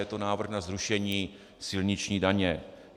Je to návrh na zrušení silniční daně.